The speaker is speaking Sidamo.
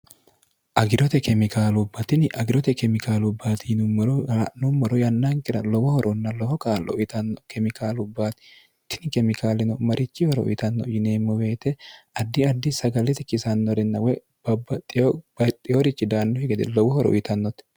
agirote kemikaalubbatini agirote kemikaalubbaatiinummoro ala'nommoro yannankira lowohoronna loho kaallo uyitanno kemikaalubbaatitini kemikaalino marichi horo uyitanno yineemmo beete addi addi sagalete kisannorinna woy babbaxxibaixxiyorichi daannuhi gede lowohoro uyitannote